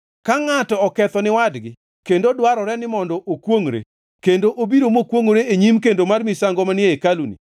“Ka ngʼato oketho ni wadgi kendo dwarore ni mondo okwongʼre kendo obiro mokwongʼore e nyim kendo mar misango manie hekaluni,